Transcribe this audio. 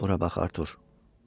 Bura bax Artur.